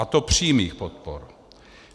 A to přímých podpor.